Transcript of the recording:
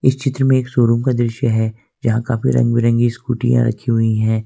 चित्र में एक शोरूम का दृश्य है जहां काफी रंग बिरंगी स्कूटीयां रखी हुई है।